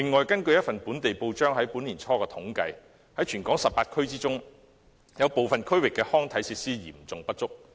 根據一份本地報章年初的統計，全港18區中，有部分地區的康體設施嚴重不足。